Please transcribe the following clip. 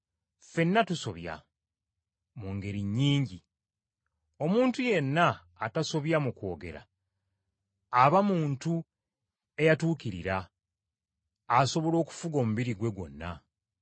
Ffenna tusobya mu ngeri nnyingi. Omuntu yenna atasobya mu kwogera, aba muntu eyatuukirira, asobola okufuga omubiri gwe gwonna.